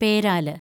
പേരാല്